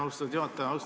Austatud juhataja!